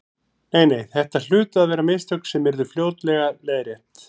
Nei, nei, þetta hlutu að vera mistök sem yrðu fljótlega leiðrétt.